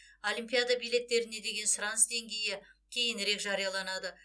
олимпиада билеттеріне деген сұраныс деңгейі кейінірек жарияланады